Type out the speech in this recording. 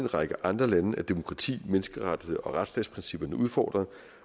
række andre lande er demokrati menneskerets og retsstatsprincipperne udfordret